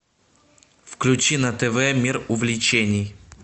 включи на тв мир увлечений